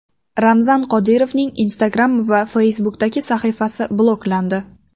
Ramzan Qodirovning Instagram va Facebook’dagi sahifasi bloklandi.